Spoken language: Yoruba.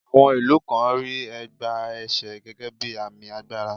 À̀wọn ìlú kan rí ẹ̀gbá ẹsè gẹ́gẹ́ bí àmì agbára.